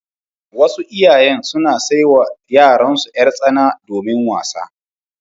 Wasu iyayen suna sai wa yaransu yar-tsana domin wasa.